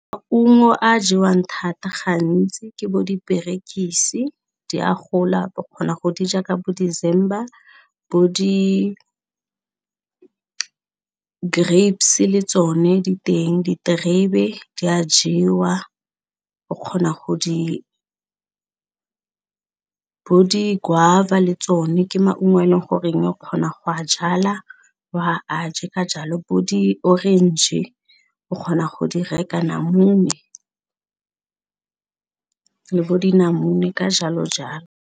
Maungo a jewang thata gantsi ke bo diperekisi, di a gola kgona go di ja ka bo December bo di grapes le tsone diteng diterebe di a jewa o kgona go di, bo di guava le tsone ke maungo a e leng goreng o kgona go a jala wa a je ka jalo bo di-orange o kgona go di raka namune, le bo dinamune ka jalo jalo.